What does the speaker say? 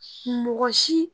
Mɔgɔ si